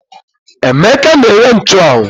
Emeka na-ere nchụ́anwu